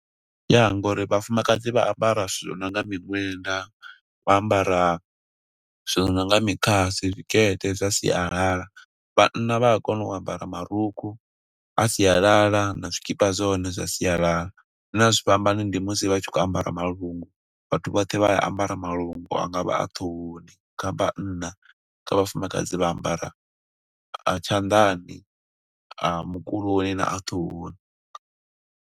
Ya, ngo uri vhafumakadzi vha ambara zwithu zwi nonga miṅwenda, vha ambara zwo nonga mikhasi, zwikete zwa sialala. Vhanna vha a kona u ambara marukhu a sialala, na zwikipa zwa hone zwa sialala. Zwine a zwi fhambani ndi musi vha tshi khou ambara malungu, vhathu vhoṱhe vha ambara malungu, angavha a ṱhohoni kha vhanna, kha vhafumakadzi vha ambara a tshanḓani, a mukuloni. na a ṱhohoni.